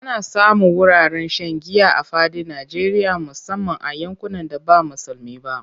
Ana samun wuraren shan giya a fadin Najeriya musamman a yankunan da ba musulmi ba.